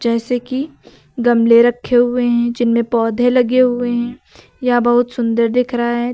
जैसे कि गमले रखे हुए हैं जिनमें पौधे लगे हुए हैं या बहुत सुंदर दिख रहा है